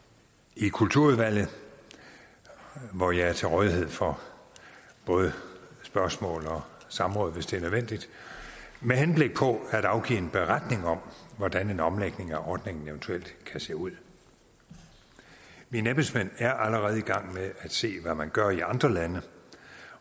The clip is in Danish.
i kulturudvalget hvor jeg er til rådighed for både spørgsmål og samråd hvis det er nødvendigt med henblik på at afgive en beretning om hvordan en omlægning af ordningen eventuelt kan se ud mine embedsmænd er allerede i gang med at se på hvad man gør i andre lande